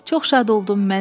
Çox şad oldum.